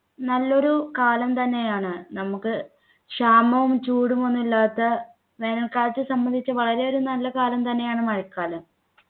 നല്ലൊരു കാലം തന്നെയാണ് നമുക്ക് ക്ഷാമവും ചൂടും ഒന്നും ഇല്ലാത്ത വേനൽക്കാലത്ത് സംബന്ധിച്ച് വളരെ ഒരു നല്ല കാലം തന്നെയാണ് മഴക്കാലം